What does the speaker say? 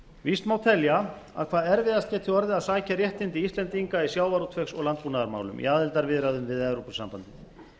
víst má telja að hvað erfiðast geri orðið að sækja réttindi íslendinga í sjávarútvegs og landbúnaðarmálum í aðildarviðræðum við evrópusambandið